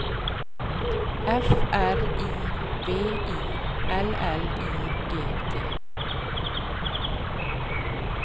F R I V I L L I G T